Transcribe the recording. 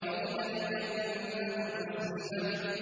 وَإِذَا الْجَنَّةُ أُزْلِفَتْ